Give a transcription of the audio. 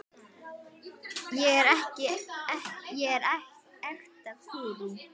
ég er ekta gúrú.